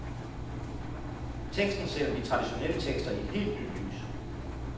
Teksten sætter de traditionelle tekster i et helt nyt lys.